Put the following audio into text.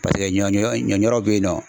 Paseke ɲɔ ɲɔ ŋɔɲɔrɔ be yen nɔ